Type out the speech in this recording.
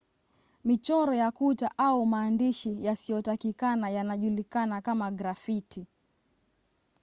michoro ya kuta au maandishi yasiyotakikana yanajulikana kama grafiti